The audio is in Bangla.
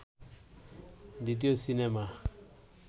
দ্বিতীয় সিনেমা